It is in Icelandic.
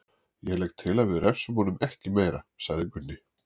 Ég legg til að við refsum honum ekki meira, sagði Gunni.